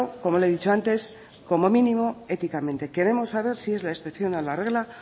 como le he dicho antes como mínimo éticamente queremos saber si es la excepción a la regla